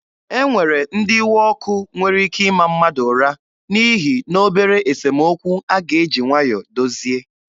E nwere ndị iwe ọkụ nwere ike ịma mmadụ ụra n'ihi na obere esemokwu a ga-eji nwayọọ dozie.